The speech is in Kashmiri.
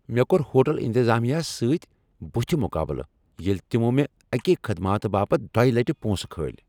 مےٚ کوٚر ہوٹٕل انتطامہس سۭتۍ بُتھہِ مقابلہٕ ییٚلہ تمو مےٚ اکے خدماتہٕ باپتھ دۄیہ لٹہ پونٛسہٕ كھٲلۍ ۔